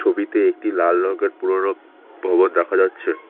ছবিতে একটি লাল রঙের পুরনো ভবন দেখা যাচ্ছে।